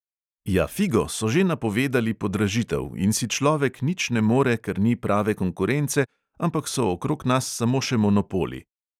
Ja, figo, so že napovedali podražitev in si človek nič ne more, ker ni prave konkurence, ampak so okrog nas samo še monopoli.